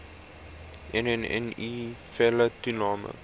nne felle toename